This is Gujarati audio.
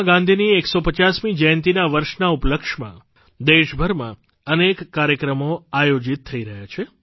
મહાત્મા ગાંધીની 150મી જયંતિના વર્ષના ઉપલક્ષ્યમાં દેશભરમાં અનેક કાર્યક્રમો આયોજિત થઇ રહ્યા છે